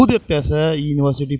खुद एते से यूनिवर्सिटी --